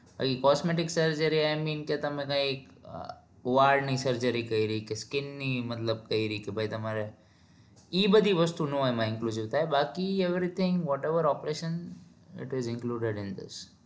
e costume surgery I mean કે તમે કાઈક વાળ ની surgery કરી કે skin ની મતલબ કરી કે ભાઈ તમારે ઈ બધી વસ્તુ એમાં નો include ના થાય બાકી everythingwhatever operation ho a